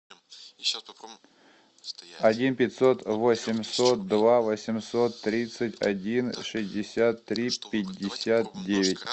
один пятьсот восемьсот два восемьсот тридцать один шестьдесят три пятьдесят девять